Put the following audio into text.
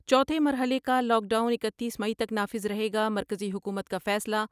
چوتھے مرحلے کالاک ڈاؤن اکتیس مئی تک نافذ رہے گا، مرکزی حکومت کا فیصلہ